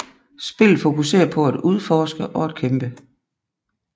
Spillet fokuserer på at udforske og at kæmpe